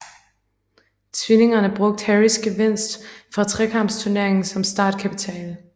Tvillingerne brugte Harrys gevinst fra Trekampsturneringen som startkapital